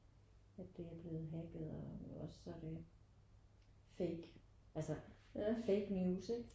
At det er blevet hacket eller også så er det fake altså fake news ikke